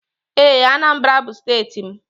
Ee, Anambra bu steeti m.